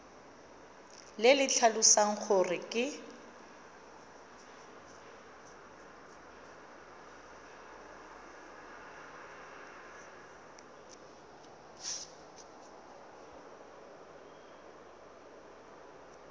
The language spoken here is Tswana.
le le tlhalosang gore ke